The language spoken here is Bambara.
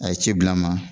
A ye ci bila n ma